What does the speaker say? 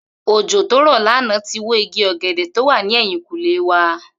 Òjò tó rò̩ lánàá tí wo igi ò̩gè̩dè̩ tó wa ní è̩yìnkùnlé wa